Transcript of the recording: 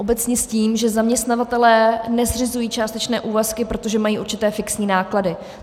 ... obecně s tím, že zaměstnavatelé nezřizují částečné úvazky, protože mají určité fixní náklady.